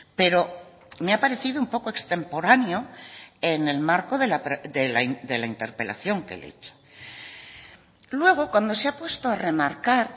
pero me ha parecido un poco extemporáneo en el marco de la interpelación que le he hecho luego cuando se ha puesto a remarcar